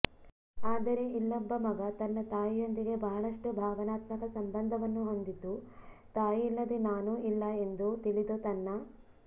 ಆದರೆ ಇಲ್ಲೊಬ್ಬ ಮಗ ತನ್ನ ತಾಯಿಯೊಂದಿಗೆ ಬಹಳಷ್ಟು ಭಾವನಾತ್ಮಕ ಸಂಬಂಧವನ್ನು ಹೊಂದಿದ್ದು ತಾಯಿಯಿಲ್ಲದೆ ನಾನೂ ಇಲ್ಲ ಎಂದು ತಿಳಿದು ತನ್ನ